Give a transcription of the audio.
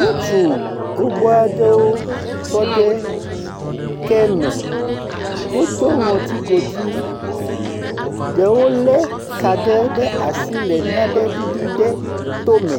Ŋutsu gbogbo aɖewo tɔ ɖe ke me. Wodo ŋɔtso godui. Ɖewo le ka ɖe ɖe asi le naɖe ɖiɖi le to me.